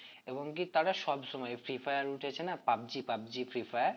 এবং কি তারা সবসময় ফ্রী ফায়ার উঠেছে না পাবজি পাবজি ফ্রী ফায়ার